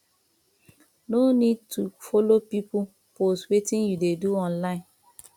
no need to followe pipo post wetin you dey do online